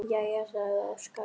Jæja, sagði Óskar.